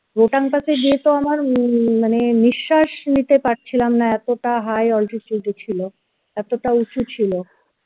rohtang pass এ গিয়ে তো আমার মানে ন~নিঃশাস নিতে পারছিলাম না এতটা high ছিল এতটা উঁচু ছিল